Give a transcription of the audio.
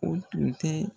O tun tɛ